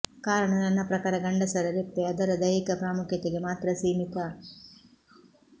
ಕಾರಣ ನನ್ನ ಪ್ರಕಾರ ಗಂಡಸರ ರೆಪ್ಪೆ ಅದರ ದೈಹಿಕ ಪ್ರಾಮುಖ್ಯತೆಗೆ ಮಾತ್ರ ಸೀಮಿತ